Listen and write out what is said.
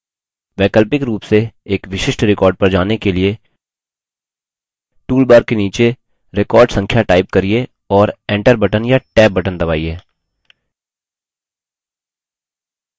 वैकल्पिक रूप से एक विशिष्ट record पर जाने के लिए toolbar के नीचे record संख्या type करिये और enter बटन या tab बटन दबाइए